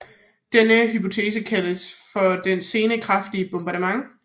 Denne hypotese kaldes for det sene kraftige bombardement